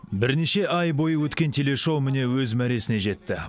бірнеше ай бойы өткен телешоу міне өз мәресіне жетті